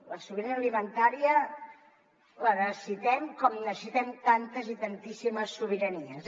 la sobirania alimentària la necessitem com necessitem tantes i tantíssimes sobiranies